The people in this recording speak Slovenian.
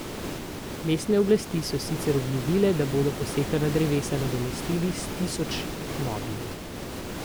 Mestne oblasti so sicer obljubile, da bodo posekana drevesa nadomestili s tisoč novimi.